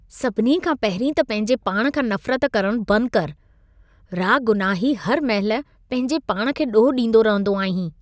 सभिनी खां पहिरीं त पंहिंजे पाण खां नफ़रत करण बंद कर। रागुनाही हर महिल पंहिंजे पाण खे ॾोह ॾींदो रहंदो आहीं।